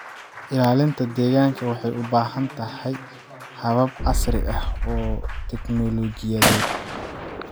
Ilaalinta deegaanka waxay u baahan tahay habab casri ah oo teknoolojiyadeed.